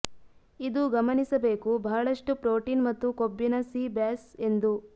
ಇದು ಗಮನಿಸಬೇಕು ಬಹಳಷ್ಟು ಪ್ರೋಟೀನ್ ಮತ್ತು ಕೊಬ್ಬಿನ ಸೀ ಬ್ಯಾಸ್ ಎಂದು